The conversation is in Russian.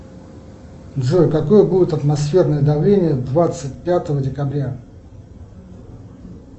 джой какое будет атмосферное давление двадцать пятого декабря